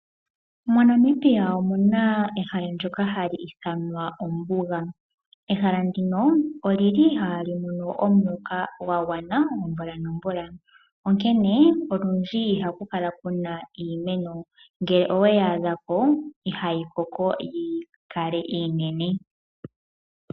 Mo Namibia omuna ehala ndyoka hali ithanwa ombuga. Ehala ndino olili ihaali mono omuloka gwa gwana omvula nomvula. Onkene, olundji ihaku kala kuna iimeno ngele oweyi adhapo ihayi koko yi kale iinene.